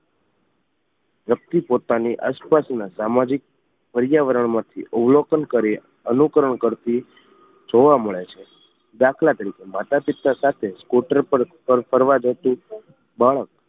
વ્યક્તિ પોતાની આસપાસના સામાજિક પર્યાવરણ માંથી અવલોકન કરી અનુકરણ કરતી જોવા મળે છે દાખલા તરીકે માતા પિતા સાથે સ્કૂટર પર ફરવા જતું બાળક